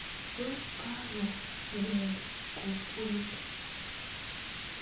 Tos kakoweek kokwet?